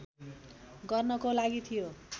गर्नको लागि थियो